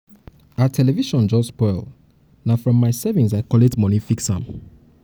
our television just spoil na from my savings i collect moni fix am. fix am.